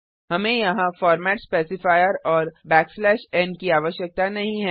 हमें यहाँ format specifier और n की आवश्यकता नहीं है